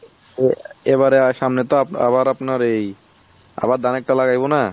এ এবারে আর সামনে তো আবার আপনার এই আবার ধানের টা লাগাইবো না।